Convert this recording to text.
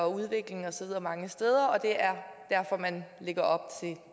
udvikling og så videre mange steder og at det er derfor man lægger op